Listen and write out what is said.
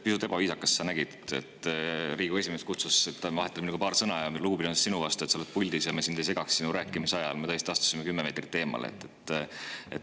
Pisut ebaviisakas: sa nägid, et Riigikogu esimees kutsus, et vahetame paar sõna, ja me lugupidamisest sinu vastu – sa olid puldis –, et me sind ei segaks su rääkimise ajal, astusime tõesti kümme meetrit eemale.